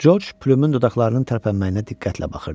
Coç Pümün dodaqlarının tərpənməyinə diqqətlə baxırdı.